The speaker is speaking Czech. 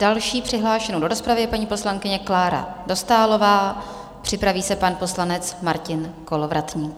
Další přihlášenou do rozpravy je paní poslankyně Klára Dostálová, připraví se pan poslanec Martin Kolovratník.